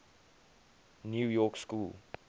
new york school